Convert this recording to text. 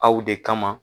Aw de kama